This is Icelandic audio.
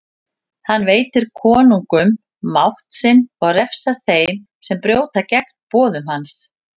Hann veitir konungum mátt sinn og refsar þeim sem brjóta gegn boðum hans.